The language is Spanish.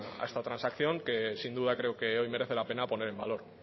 a esta transacción que sin duda creo que hoy merece la pena poner en valor